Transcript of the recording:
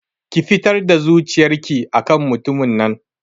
Ki fitar da zuciyar ki akan mutumin nan